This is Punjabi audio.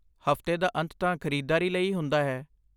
ਹਫ਼ਤੇ ਦਾ ਅੰਤ ਤਾਂ ਖ਼ਰੀਦਦਾਰੀ ਲਈ ਹੀ ਹੁੰਦਾ ਹੈ।